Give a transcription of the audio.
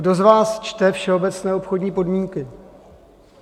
Kdo z vás čte všeobecné obchodní podmínky?